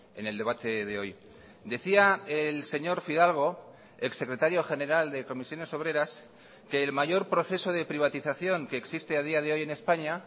en el debate de hoy decía el señor fidalgo ex secretario general de comisiones obreras que el mayor proceso de privatización que existe a día de hoy en españa